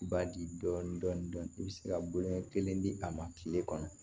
Ba di dɔn dɔn i bɛ se ka bonya kelen di a ma tile kɔnɔ